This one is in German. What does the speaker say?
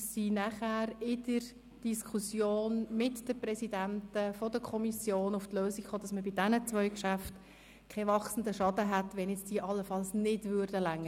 Während der Diskussion mit den Kommissionspräsidenten sind wir zur Lösung gelangt, dass bei diesen zwei Geschäften kein grosser Schaden entstünde, wenn die Zeit jetzt nicht reichte.